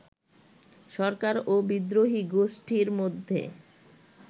সরকার ও বিদ্রোহী গোষ্ঠীর মধ্যে